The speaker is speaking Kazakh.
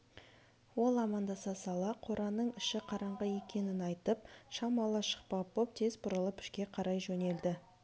ол амандаса сала қораның іші қараңғы екенін айтып шам ала шықпақ боп тез бұрылып ішке қарай жөнелді